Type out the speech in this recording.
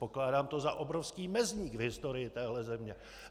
Pokládám to za obrovský mezník v historii téhle země.